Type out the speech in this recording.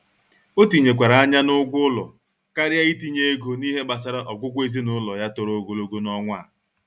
O tinyekwara anya n'ụgwọ ụlọ karịa itinye ego n'ihe gbasara ọgwụgwọ ezinụlọ ya toro ogologo n'ọnwa a.